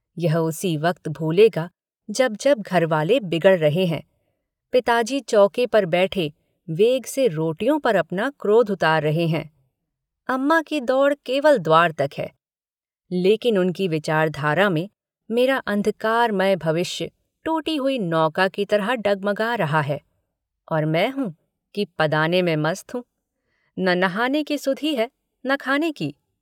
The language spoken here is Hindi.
यह उसी वक्त भूलेगा जब जब घरवाले बिगड़ रहे हैं पिताजी चौके पर बैठे वेग से रोटियों पर अपना क्रोध उतार रहे है अम्मा की दौड़ केवल द्वार तक है लेकिन उनकी विचारधारा में मेरा अन्धकारमय भविष्य टूटी हुई नौका की तरह डगमगा रहा है और मैं हूँ कि पदाने में मस्त हूँ न नहाने की सुधि है न खाने की।